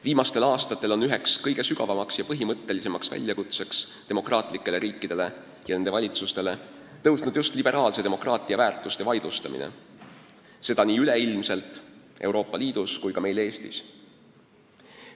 Viimastel aastatel on üheks kõige suuremaks ja põhimõttelisemaks väljakutseks demokraatlikele riikidele ja nende valitsustele saanud liberaalse demokraatia väärtuste vaidlustamine, seda nii üleilmselt, Euroopa Liidus kui ka meil Eestis.